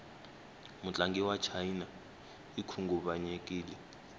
mutlangi wachina ikhunguvanyekile